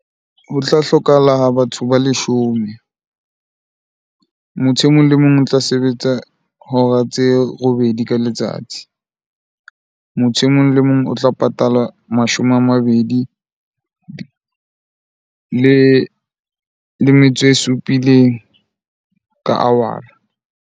Ho tla hlokahala ha batho ba leshome. Motho e mong le mong o tla sebetsa hora tse robedi ka letsatsi. Motho e mong le mong o tla patala mashome a mabedi le metso e supileng ka hour-a.